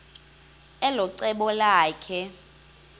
elo cebo lakhe